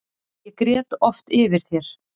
Ég grét oft yfir þér.